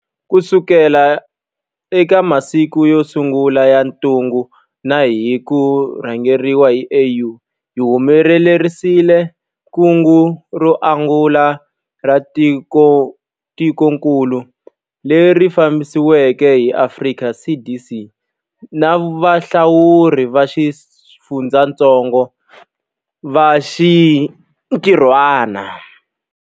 Kusuka eka masiku yo sungula ya ntungukulu na hi ku rhangeriwa hi AU, hi humelerisile kungu ro angula ra tikokulu, leri fambisiweke hi Afrika CDC na valawuri va xifundzatsongo va xintirhwana.